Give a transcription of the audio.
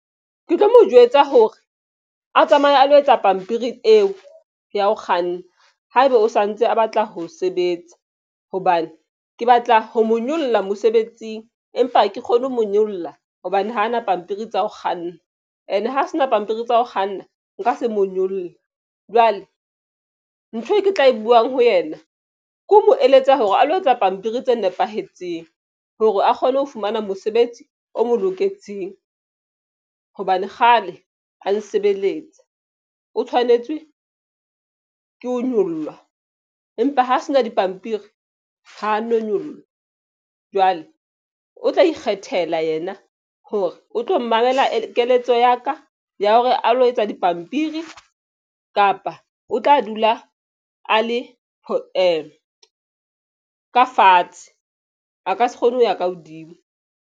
Ke tlo mo jwetsa hore a tsamaye a lo etsa pampiri eo ya ho kganna. Ha eba o santse a batla ho sebetsa hobane ke batla ho mo nyolla mosebetsing, empa ha ke kgone ho mo nyolla hobane hana pampiri tsa ho kganna and ha se na pampiri tsa ho kganna, nka se mo nyolla. Jwale ntho e ke tla e buwang ho yena ke ho mo eletsa hore a lo etsa pampiri tse nepahetseng hore a kgone ho fumana mosebetsi o mo loketseng. Hobane kgale a nsebeletsa o tshwanetse ke ho nyoloha empa ho se na dipampiri ha no nyollwa jwale o tla ikgethela yena hore o tlo mamela keletso ya ka ya hore a lo etsa dipampiri kapa o tla dula a le ka fatshe a ka se kgone ho ya ka hodimo.